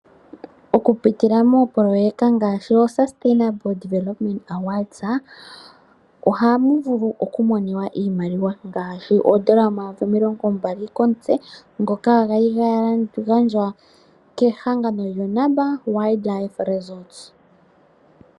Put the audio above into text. Oku pitila moopoloyeka ngashi yo sustainable development awards ohamu vulu oku moniwa iimaliwa ngashi ondola 20000 komutse ngoka kwali ga gandjwa kehangano lyo Namba Wildlife Ressort.